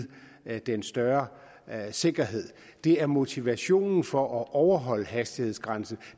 den større sikkerhed men at det er motivationen for at overholde hastighedsgrænsen